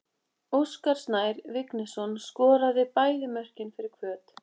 Óskar Snær Vignisson skoraði bæði mörkin fyrir Hvöt.